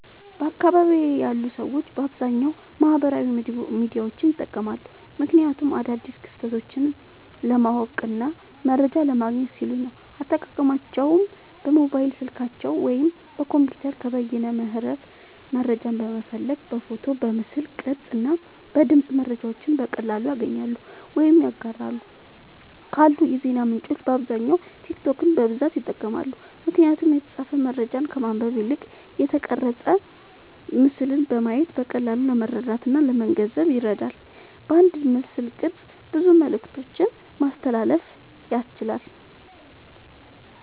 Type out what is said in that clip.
በአካባቢየ ያሉ ሰዎች በአብዛኛዉ ማህበራዊ ሚዲያዎችን ይጠቀማሉ። ምክንያቱም አዳዲስ ክስተቶችን ለማወቅና መረጃ ለማግኘት ሲሉ ነዉ። አጠቃቀማቸዉም በሞባይል ስልካቸዉ ወይም በኮምፒዉተር ከበይነመረብ መረጃን በመፈለግ በፎቶ፣ በምስል ቅርጽ እና በድምጽ መረጃዎችን በቀላሉ ያገኛሉ ወይም ያጋራሉ። ካሉ የዜና ምንጮች በአብዛኛዉ ቲክቶክን በብዛት ይጠቀማሉ። ምክንያቱም የተጻፈ መረጃን ከማንበብ ይልቅ የተቀረጸ ምስልን በማየት በቀላሉ ለመረዳትእና ለመገንዘብ ይረዳል። በአንድ ምስልቅርጽ ብዙ መልክቶችን ማስተላለፍ ያስችላል።